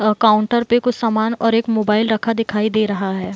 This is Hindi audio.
अ काउंटर पे कुछ सामान और एक मोबाइल रखा दिखाई दे रहा है।